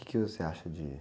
O quê que você acha de...